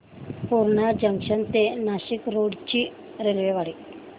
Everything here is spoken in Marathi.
पूर्णा जंक्शन ते नाशिक रोड ची रेल्वेगाडी